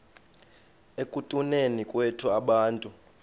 ekutuneni kwethu abantu